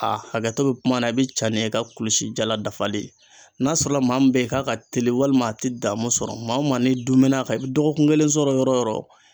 A hakɛ to bɛ kuma na i bɛ ca ni i ka kulusi jala dafalen ye, n'a sɔrɔla maa min bɛ ye k'a ka teli walima a tɛ damun sɔrɔ, maa o maa n'i dun mɛna ka i bɛ dɔgɔkun kelen sɔrɔ yɔrɔ o yɔrɔ